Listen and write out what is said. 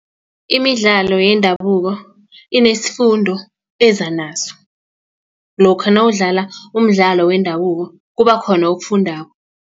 imidlalo yendabuko inesifundo eza naso lokha nawudlala umdlalo wendabuko kubakhona okufundako.